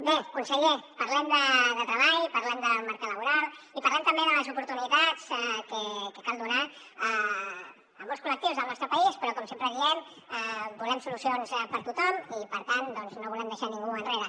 bé conseller parlem de treball parlem del mercat laboral i parlem també de les oportunitats que cal donar a molts col·lectius del nostre país però com sempre diem volem solucions per a tothom i per tant doncs no volem deixar ningú enrere